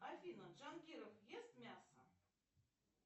афина джангиров ест мясо